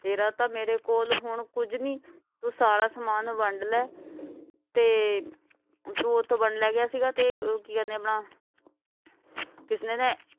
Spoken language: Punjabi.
ਤੇਰਾ ਤਾਂ ਮੇਰੇ ਕੋਲ ਹੁਣ ਕੁਛ ਨਹੀਂ ਤੂੰ ਸਾਰਾ ਸਮਾਨ ਵੰਡ ਲੈ ਤੇ ਤੂੰ ਇਥੋਂ ਵੰਡ ਲੈ ਗਿਆ ਸੀ ਤੇ ਕਿ ਕਹਿੰਦੇ ਹੈ ਆਪਣਾ ਕਿਸਨੇ ਨੇ